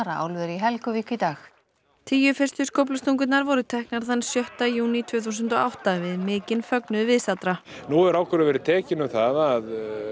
að álveri í Helguvík í dag tíu fyrstu skóflustungurnar voru teknar þann sjötta júní tvö þúsund og átta við mikinn fögnuð viðstaddra nú hefur ákvörðun verið tekin um það að